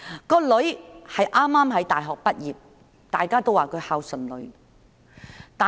該名女兒剛從大學畢業，大家都說她孝順。